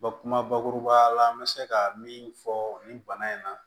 kuma bakuruba ya la n bɛ se ka min fɔ nin bana in na